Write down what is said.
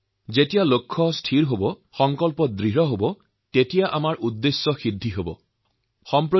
তেওঁলোক দেখুৱাইছে যদি লক্ষ্য স্থিৰ থাকে পূৰ্ণ আত্মবিশ্বাস থাকে মনত প্ৰতিজ্ঞা থাকে তেতিয়াহলে সকলো কামেই সম্ভৱ হয়